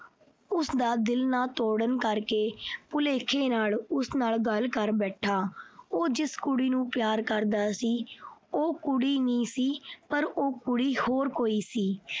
ਉਸਦਾ ਦਿਲ ਨਾ ਤੋੜਨ ਕਰਕੇ ਭੁਲੇਖੇ ਨਾਲ ਉਸ ਨਾਲ ਗੱਲ ਕਰ ਬੈਠਾ। ਉਹ ਜਿਸ ਕੁੜੀ ਨੂੰ ਪਿਆਰ ਕਰਦਾ ਸੀ, ਉਹ ਕੁੜੀ ਨਹੀਂ ਸੀ। ਪਰ ਉਹ ਕੁੜੀ ਹੋਰ ਕੋਈ ਸੀ।